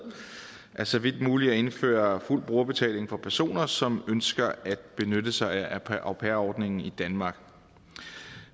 er så vidt muligt at indføre fuld brugerbetaling for personer som ønsker at benytte sig af au pair ordningen i danmark